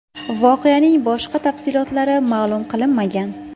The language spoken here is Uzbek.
Voqeaning boshqa tafsilotlari ma’lum qilinmagan.